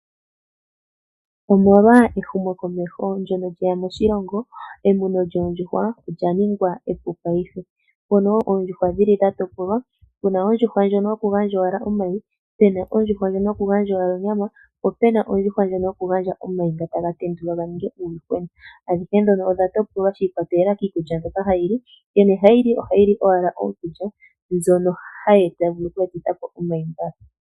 Omolwa ehumokomeho ndjono lyeya moshilongo emuno lyoondjuhwa olya ningwa epu paife. Mono oondjuhwa dhili dha topolwa puna ondjuhwa ndjono yoku gandja owala omayi, pena ondjuhwa ndjono yoku gandja onyama, po pena ondjuhwa ndjono yoku gandja omayi taga tendulwa ga ninge uuyuhwena. Adhihe dhono odha topolwa shi ikwatelela kiikulya mbyoka hayi li. Nkene hayi li ohayi li owala iikulya mbyono vulu oku etitha po omayi nga.